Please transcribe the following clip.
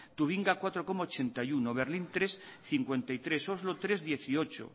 turingia cuatro coma ochenta y uno berlín hiru koma berrogeita hamairu oslo hiru koma hemezortzi